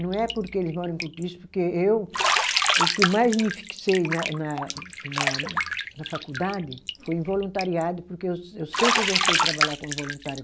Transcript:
Não é porque eles moram em Cortiço, porque eu, o que eu mais me fixei na na na na faculdade foi em voluntariado, porque eu se eu sempre gostei de trabalhar como voluntária.